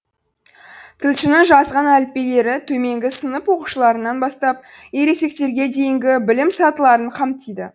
тілшінің жазған әліппелері төменгі сынып оқушыларынан бастап ересектерге дейінгі білім сатыларын қамтиды